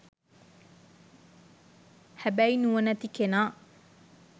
හැබැයි නුවණැති කෙනා